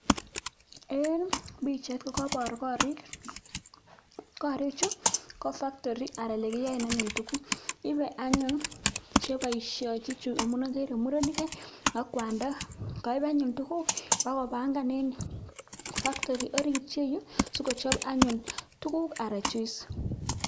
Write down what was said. Eng pichait kokeipor koriik, korichu ko factory anan kiyoen anyun tuguk, ipei anyun che boisionchin chu amun ageere murenik ak kwanda, kaip anyun tuguk pokopangan eng factory orit ye yu sikochop anyun tuguuk anan juice.